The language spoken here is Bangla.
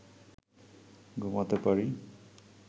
ঘুমাতে পারি